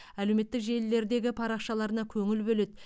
әлеуметтік желілердегі парақшаларына көңіл бөледі